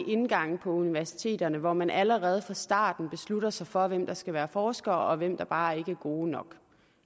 indgange på universiteterne hvor man allerede fra starten beslutter sig for hvem der skal være forskere og hvem der bare ikke er gode nok